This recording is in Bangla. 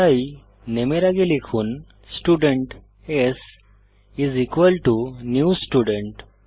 তাই নামে এর আগে লিখুন student s is equal to new student